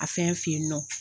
A fɛn fen yen nɔ